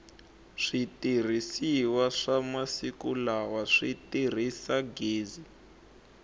switirhisiwa swa masiku lala si tirhisa gezi